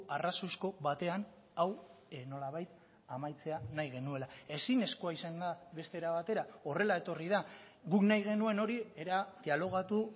arrazoizko batean hau nolabait amaitzea nahi genuela ezinezkoa izan da beste era batera horrela etorri da guk nahi genuen hori era dialogatu